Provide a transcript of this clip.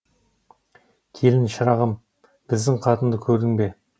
келін шырағым біздің қатынды көрдің бе